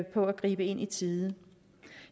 på at gribe ind i tide